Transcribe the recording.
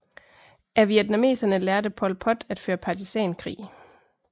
Af vietnameserne lærte Pol Pot at føre partisankrig